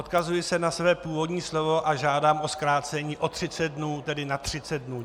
Odkazuji se na své původní slovo, a žádám o zkrácení o 30 dnů, tedy na 30 dnů.